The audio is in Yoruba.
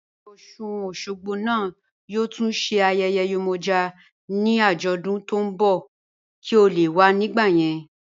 Ayéyè Osun-Osogbo naá yóò tún sé ayéyè Yemoja ni ajódún tó n bọ̀ kí è lè wà nígbà yẹn